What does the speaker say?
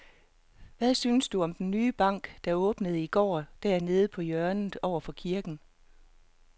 Hvad synes du om den nye bank, der åbnede i går dernede på hjørnet over for kirken?